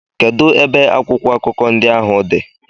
Kedụ ebe akwụkwọ akụkọ ndị ahụ dị?